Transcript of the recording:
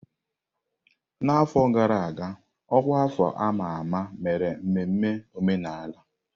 N'afọ gara aga, ọkwa afọ a ma ama mere mmemme omenala.